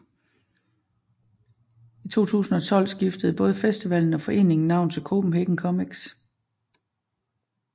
I 2012 skiftede både festivallen og foreningen navn til Copenhagen Comics